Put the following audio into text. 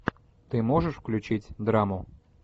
ты можешь включить драму